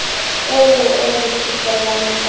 oo o re phetelang ka